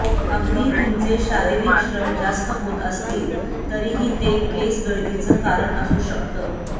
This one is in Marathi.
अगदी तुमचे शारिरीक श्रम जास्त होत असतील तरीही ते केस गळतीचं कारणं असू शकतं